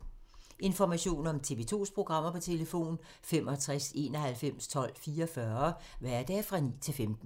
Information om TV 2's programmer: 65 91 12 44, hverdage 9-15.